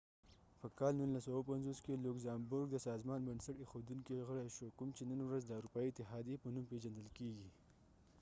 په کال 1957 کې لوګزامبورګ د سازمان بنسټ ایښودونکي غړی شو کوم چې نن ورځ د اروپایي اتحاديې په نوم پیژندل کیږي